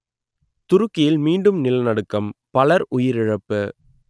துருக்கியில் மீண்டும் நிலநடுக்கம் பலர் உயிரிழப்பு